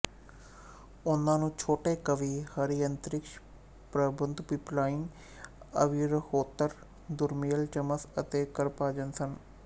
ਉਨ੍ਹਾਂ ਨੂੰ ਛੋਟੇ ਕਵੀ ਹਰਿ ਅੰਤਰਿਕਸ਼ ਪ੍ਰਬੁੱਧ ਪਿੱਪਲਾਇਨ ਆਵਿਰਹੋਤਰ ਦਰੁਮਿਲ ਚਮਸ ਅਤੇ ਕਰਭਾਜਨ ਸਨ